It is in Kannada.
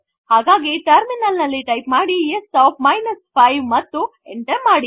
ಹಾಗಾಗಿ ಟರ್ಮಿನಲ್ ನಲ್ಲಿ ಟೈಪ್ ಮಾಡಿ s of 5 ಮತ್ತು ಎಂಟರ್ ಮಾಡಿ